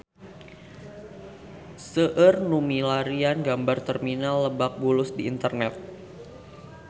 Seueur nu milarian gambar Terminal Lebak Bulus di internet